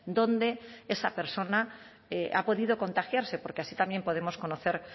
dónde esa persona ha podido contagiarse porque así también podemos conocer